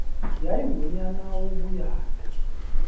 yayi ngunyaka wobuyatha